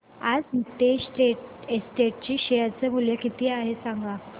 आज नीतेश एस्टेट्स चे शेअर मूल्य किती आहे सांगा